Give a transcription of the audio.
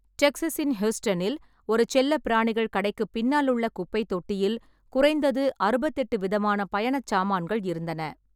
டெக்சஸின் ஹியூஸ்டனில் ஒரு செல்லப்பிராணிகள் கடைக்குப் பின்னாலுள்ள குப்பைத் தொட்டியில் குறைந்தது அறுபத்தெட்டு விதமான பயணச் சாமான்கள் இருந்தன.